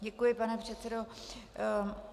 Děkuji, pane předsedo.